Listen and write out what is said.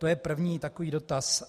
To je první takový dotaz.